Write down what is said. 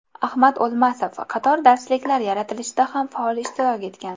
Ahmad O‘lmasov qator darsliklar yaratilishida ham faol ishtirok etgan.